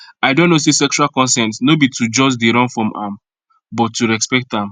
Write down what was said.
i don know say sexual consent no be to just they run from am but to respect am